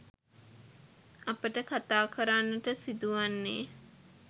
අපට කථා කරන්නට සිදුවන්නේ